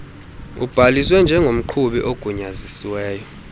ubhaliswe njengomqhubi ogunyaziselwe